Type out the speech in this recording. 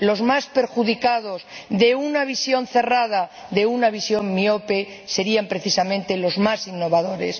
Los más perjudicados por una visión cerrada, por una visión miope, serían precisamente los más innovadores.